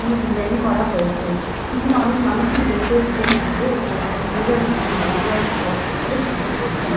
টি design করা হয়েছে। এখানে অনেক মানুষই দেখতে এসেছেন পূজো। এখানে একজন পূজারী তিনি গেরুয়া একটি বস্ত্র পরে পূজো করছেন।